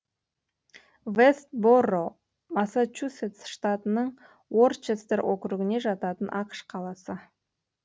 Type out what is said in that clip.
вэст борроу массачусетс штатының уорчестер округіне жататын ақш қаласы